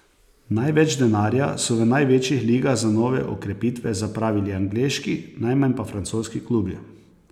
Največ denarja so v največjih ligah za nove okrepitve zapravili angleški, najmanj pa francoski klubi.